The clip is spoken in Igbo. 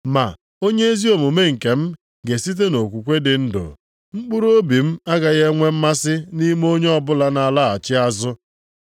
Ma, “Onye ezi omume nkem ga-esite nʼokwukwe dị ndụ. Mkpụrụobi m agaghị e nwee mmasị nʼime onye ọbụla na-alaghachi azụ.” + 10:38 \+xt Hab 2:3,4\+xt*